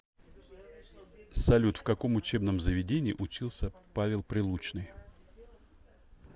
салют в каком учебном заведении учился павел прилучныи